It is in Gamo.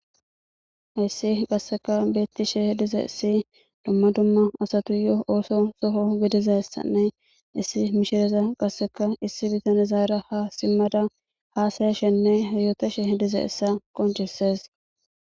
Hayssi qasseka beetishe dizays,dumma dumma asatuyo ootho gidizaysane issi mishiriya qasseka issi bitanezara haasayashenne yootashe dizaysa qonccisees.